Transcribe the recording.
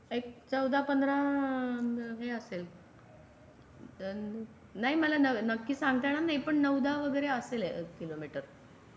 एक चौदा पंधरा हे असेल नाही मला नक्की सांगतलं नाही येईल पण नऊ दहा वगरे असेल आहे किलो मीटर.